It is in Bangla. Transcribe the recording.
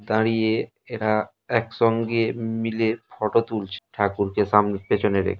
দাঁড়িয়ে এরা একসঙ্গে মিলে ফটো তুলছে ঠাকুরকে সামনে পেছনে রেখে ।